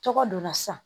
Tɔgɔ donna sisan